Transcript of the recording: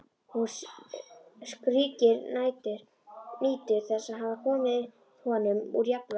Hún skríkir, nýtur þess að hafa komið honum úr jafnvægi.